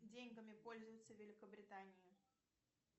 деньгами пользуются в великобритании